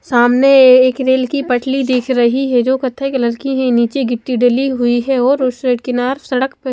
सामने एक रेल की पटरी दिख रही है जो कथाई कलर की है निचे गिटी डली हुई है और उस साइड किनार उस सड़क पे--